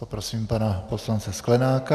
Poprosím pana poslance Sklenáka.